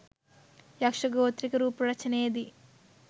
යක්ෂ ගෝත්‍රික රූප රචනයේදී